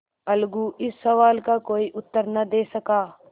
अलगू इस सवाल का कोई उत्तर न दे सका